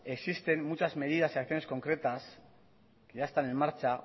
existen muchas medidas y acciones concretas que ya están en marcha